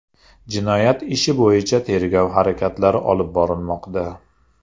Jinoyat ishi bo‘yicha tergov harakatlari olib borilmoqda.